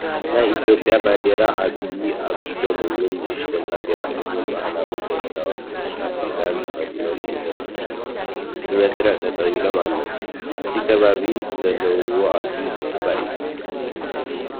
ናይ ኢትዮጰያ ባንዴራን ዓበይን ኣብ ኢዶም እውን ንእሽተይ ባንዴራ ሒዞም ባህላውን ዘመናውን ሕብሪታት ክዳን ተኸዲኖም ብመስርዕ ጠጠው ኢሎም ኣለው። እቲ ከባቢ ዘለውዎ ኣዝዩ ሰሓባይ! እዩ።